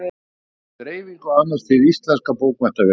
Dreifingu annast Hið íslenska bókmenntafélag.